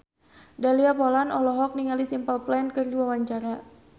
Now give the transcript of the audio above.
Dahlia Poland olohok ningali Simple Plan keur diwawancara